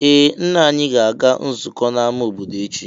Ee! Nna anyị ga-aga nzukọ n'amá obodo echi.